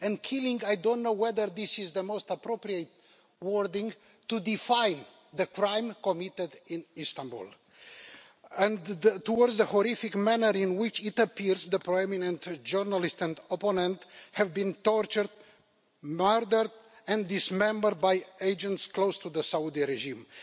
Killing' I don't know whether this is the most appropriate wording to define the crime committed in Istanbul and the horrific manner in which it appears the prominent journalist and opponent has been tortured, murdered and dismembered by agents close to the Saudi regime.